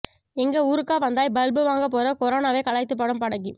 எங்க ஊருக்கா வந்தாய் பல்பு வாங்க போற கொரோனாவை கலாய்த்து பாடும் பாடகி